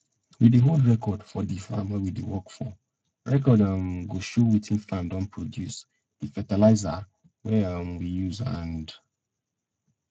we dey hold record for di farm wey we dey work for record um go show wetin farm don produce di fertilizah wey um we use and